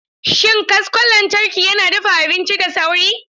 Shin kaskon lantarki yana dafa abinci da sauri?